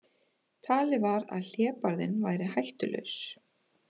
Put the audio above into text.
Talið var að hlébarðinn væri hættulaus